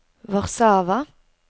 Warszawa